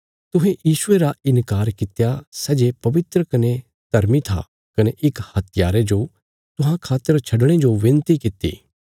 तुहें यीशुये रा इन्कार कित्या सै जे पवित्र कने धर्मी था कने इक हत्यारे जो तुहां खातर छडणे जो विनती कित्ती